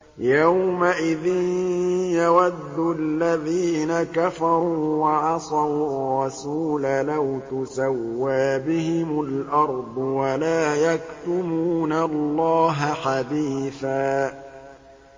يَوْمَئِذٍ يَوَدُّ الَّذِينَ كَفَرُوا وَعَصَوُا الرَّسُولَ لَوْ تُسَوَّىٰ بِهِمُ الْأَرْضُ وَلَا يَكْتُمُونَ اللَّهَ حَدِيثًا